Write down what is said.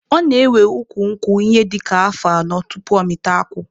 Ọ na-ewe ukwu nkwụ ihe dịka afọ anọ tupu ọ mịta akwụ.